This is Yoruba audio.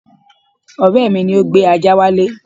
Ọ̀rẹ́ mi ni ó gbé ajá wálé